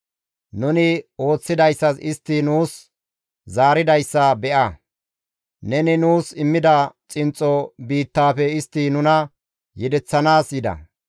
Nuni ooththidayssas istti nuus zaaridayssa be7a; neni nuus immida xinxxo biittaafe istti nuna yedeththanaas yida.